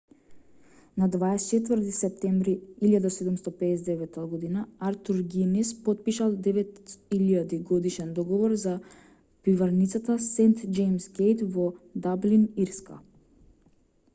на 24 септември 1759 год артур гинис потпишал 9.000-годишен договор за пиварницата сент џејмс гејт во даблин ирска